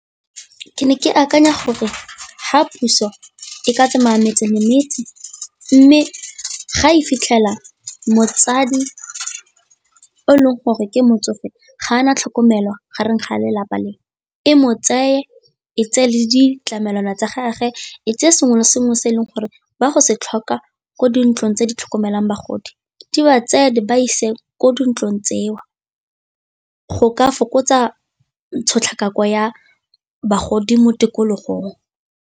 Ke ne ke akanya gore fa puso e ka tsamaya metse le metse, mme ga e fitlhela motsadi o e leng gore ke motsofe ga ana tlhokomelo gareng ga a lelapa le, e mo tseye e tse le ditlamelwana tsa gage e tseye sengwe le sengwe se e leng gore ba go se tlhoka ko dintlong tse di tlhokomelang bagodi, di ba tseye di ba ise ko dintlong tseo. Go ka fokotsa tshotlakako ya bagodi mo tikologong.